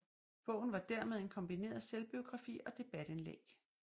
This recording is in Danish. Bogen var dermed en kombineret selvbiografi og debatindlæg